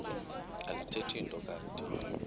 alithethi nto kanti